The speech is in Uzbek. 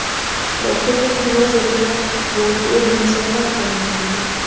Qishloq xo‘jaligi vaziriga yangi o‘rinbosarlar tayinlandi.